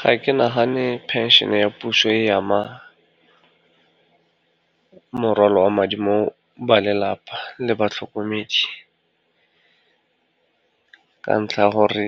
Ga ke nagane phenšene ya puso e ama morwalo wa madi mo ba lelapa le batlhokomedi, ka ntlha ya gore